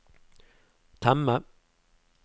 temme